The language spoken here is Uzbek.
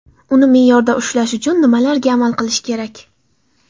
Uni me’yorda ushlash uchun nimalarga amal qilish kerak.